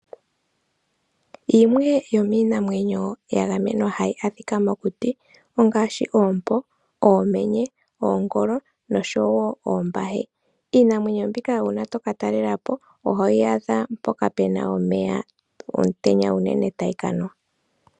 Yimwe yomiinamwenyo ya gamenwa hayi adhika mokuti ongaashi oompo, oomenye, oongolo noshowo oombahe. Iinamwenyo mbika uuna tokatalela po ohoyi adha mpoka pu na omeya, omutenya unene tayi ka nwa.